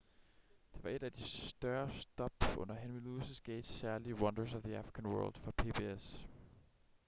det var et af de større stop under henry louis gates' særlige wonders of the african world for pbs